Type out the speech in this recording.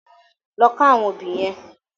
Lò ká áwòn óbì yèn